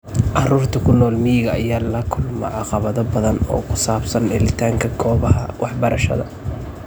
Carruurta ku nool miyiga ayaa la kulma caqabado badan oo ku saabsan helitaanka goobaha waxbarashada.